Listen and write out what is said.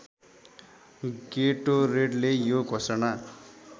गेटोरेडले यो घोषणा